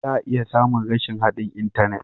Za a iya samun rashin haɗin intanet.